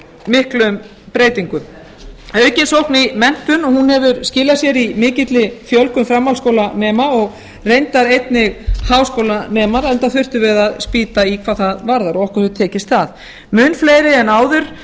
miklum breytingum aukin sókn í menntun hefur skilað sér í mikilli fjölgun framhaldsskólanema og reyndar einnig háskólanemar enda þurftum við að spýta í hvað það varðar og okkur hefur tekist það mun fleiri en áður ákveða